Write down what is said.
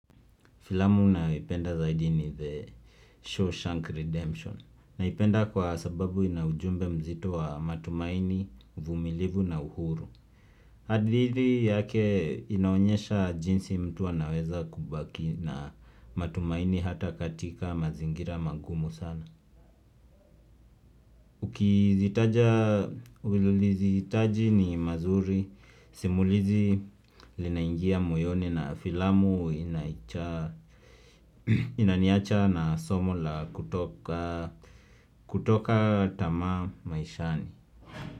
Filamu nayoipenda zaidi ni The Shawshank Redemption na ipenda kwa sababu inaujumbe mzito wa matumaini, vumilivu na uhuru. Hadithi yake inaonyesha jinsi mtu a naweza kubaki na matumaini hata katika mazingira magumu sana. Ukizitaja ululizi taji ni mazuri, simulizi linaingia moyoni na filamu inaniacha na somo la kutoka tamaa maishani.